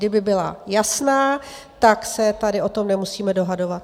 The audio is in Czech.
Kdyby byla jasná, tak se tady o tom nemusíme dohadovat.